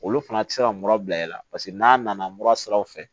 Olu fana tɛ se ka mura bila e la paseke n'a nana mura siraw fɛ